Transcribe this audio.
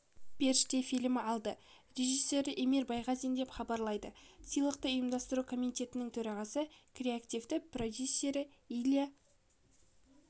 періште фильмі алды режиссері эмир байғазин деп хабарлады сыйлықты ұйымдастыру комитетінің төрағасы креативті продюсері илья